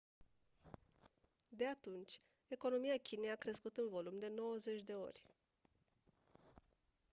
de atunci economia chinei a crescut în volum de 90 de ori